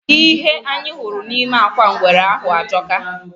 Ihe anyị hụrụ nime akwa ngwere ahụ ajọka.